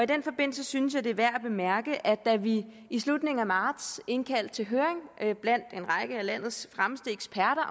den forbindelse synes jeg at det er værd at bemærke at da vi i slutningen af marts indkaldte til høring blandt en række af landets fremmeste eksperter